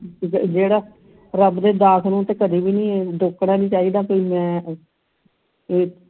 ਜਿਹੜਾ ਰੱਬ ਦੇ ਦਾਸ ਨੂੰ ਤੇ ਕਦੀ ਵੀ ਰੋਕਣਾ ਨਹੀਂ ਚਾਹੀਦਾ ਕਦੀ ਵੀ ਮੈਂ ਇਹ